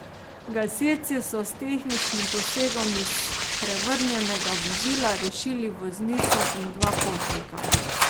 Gasilci so s tehničnim posegom iz prevrnjenega vozila rešili voznico in dva potnika.